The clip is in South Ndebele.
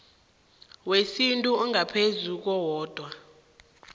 wesintu ongaphezu kowodwa